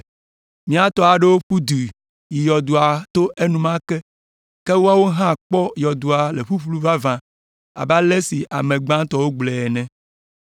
Mía tɔ aɖewo ƒu du yi yɔdoa to enumake, ke woawo hã kpɔ be yɔdoa le ƒuƒlu vavã abe ale si ame gbãtɔwo gblɔe ene.”